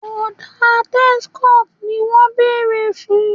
Ọ̀dà Texcoat ni wọ́n béèrè fún